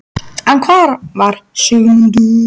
En hvar var Sigmundur?